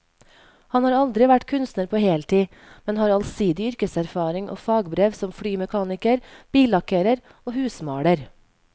Han har aldri vært kunstner på heltid, men har allsidig yrkeserfaring og fagbrev som flymekaniker, billakkerer og husmaler.